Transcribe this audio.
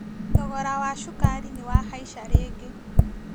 Thogora wa cukari nĩwahaica rĩngĩ